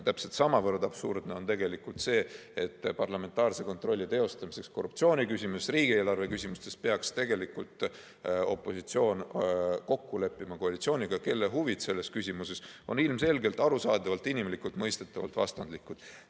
Täpselt samavõrd absurdne on tegelikult see, et parlamentaarse kontrolli teostamiseks korruptsiooni küsimustes ja riigieelarve küsimustes peaks tegelikult opositsioon kokku leppima koalitsiooniga, kelle huvid selles küsimuses on ilmselgelt arusaadavalt ja inimlikult mõistetavalt vastandlikud.